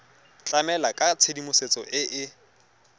tlamela ka tshedimosetso e e